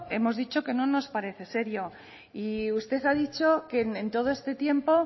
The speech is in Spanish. hemos dicho que no nos parece serio y usted ha dicho que en todo este tiempo